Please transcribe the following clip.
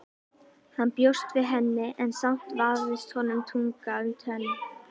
Hann bjóst við henni en samt vafðist honum tunga um tönn.